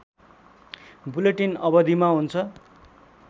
bulletin अवधिमा हुन्छ